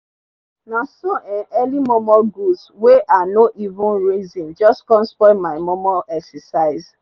naso um early momo goods wen i nor even reson jus com spoil my momo exercise